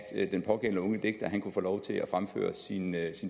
den pågældende unge digter kunne få lov til at fremføre sine